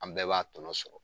An bɛɛ b'a tɔnɔ sɔrɔ.